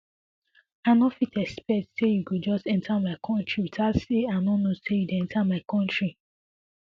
i no fit expect say you go just enta my kontri witout say i know say you dey enta my kontri